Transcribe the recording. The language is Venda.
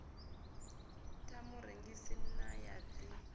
ḽa murengisi na ya ḽi